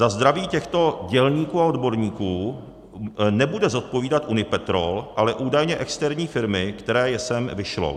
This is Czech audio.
Za zdraví těchto dělníků a odborníků nebude odpovídat Unipetrol, ale údajně externí firmy, která je sem vyšlou.